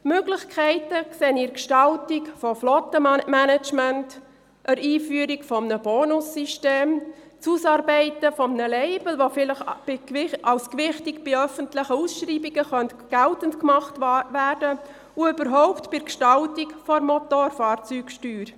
Möglichkeiten sehe ich in der Gestaltung von FlottenManagements, der Einführung eines Bonussystems, der Ausarbeitung eines Labels, das bei öffentlichen Ausschreibungen vielleicht gewichtig geltend gemacht werden kann und überhaupt bei der Gestaltung der Motorfahrzeugsteuer.